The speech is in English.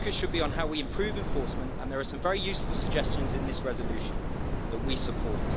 The focus should be on how we improve enforcement and there are some very useful suggestions in this resolution that we support.